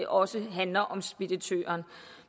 også handler om speditøren